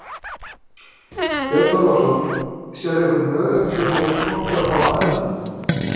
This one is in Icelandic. Björn Þorláksson: Sérðu einhvern möguleika fyrir þetta fólk að fá aðra vinnu?